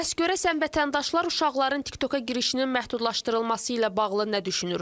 Bəs görəsən vətəndaşlar uşaqların TikToka girişinin məhdudlaşdırılması ilə bağlı nə düşünürlər?